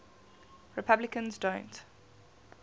replicants don't